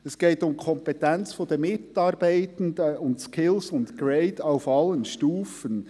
Es geht um die Kompetenz der Mitarbeitenden sowie der Skills und Grades auf allen Stufen.